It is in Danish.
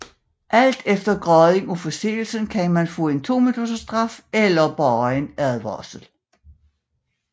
Alt efter graden af forseelsen kan man få en 2 minutters straf eller blot en advarsel